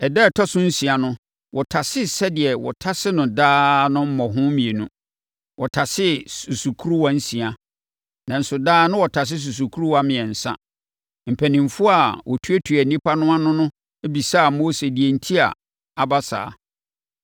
Ɛda a ɛtɔ so nsia no, wɔtasee sɛdeɛ wɔtase no daa no mmɔho mmienu. Wɔtasee susukoraa nsia, nanso daa na wɔtase susukoraa mmiɛnsa. Mpanimfoɔ a wɔtuatua nnipa no ano no bɛbisaa Mose deɛ enti a aba saa.